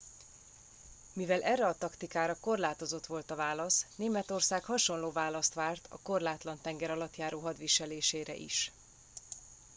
mivel erre a taktikára korlátozott volt a válasz németország hasonló választ várt a korlátlan tengeralattjáró hadviselésére is